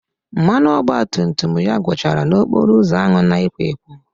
Mmanụ ọgbatumtum ya gwụchara n'okporo ụzọ ahụ na-ekwo ekwo